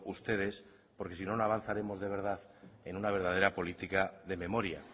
ustedes porque si no no avanzaremos de verdad en una verdadera política de memoria